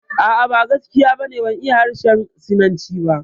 A'a, ba gaskiya ba ne, ban iya harshen Sinanci ba